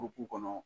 kɔnɔ